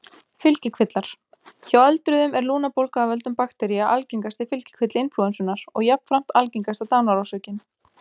Fylgikvillar Hjá öldruðum er lungnabólga af völdum baktería algengasti fylgikvilli inflúensunnar og jafnframt algengasta dánarorsökin.